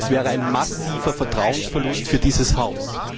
Das wäre ein massiver Vertrauensverlust für dieses Haus.